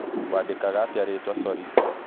Wandĩkaga atĩa rĩtwa sori?